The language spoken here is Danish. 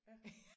Ja